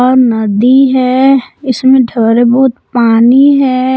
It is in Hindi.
और नदी है इसमें थोड़ा बहुत पानी है।